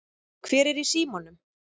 Hver er í símanum?